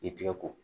I tigɛ ko